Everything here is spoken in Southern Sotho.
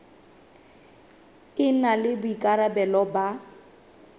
e na le boikarabelo ba